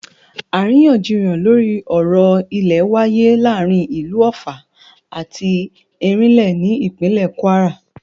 Àríyànjiyàn lórí ọ̀rọ̀ ilẹ̀ wááyé láàrin ìlú Ọ̀ffà àti Ẹ̀rínlé ní ìpínlè Kwara